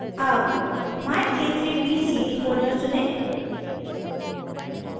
अब myk3bcd folder चुनें